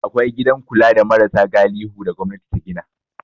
Akwai gidan kula da marasa galihu da gwamnati ta gina.